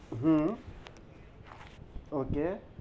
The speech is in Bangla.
হুম ok